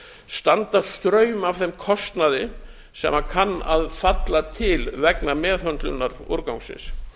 standa straum af þeim kostnaði sem kann að falla til vegna meðhöndlunar úrgangsins